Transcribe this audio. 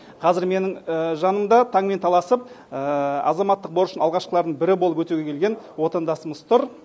қазір менің жанымда таңмен таласып азаматтық борышын алғашқылардың бірі болып өтеуге келген отандасымыз тұр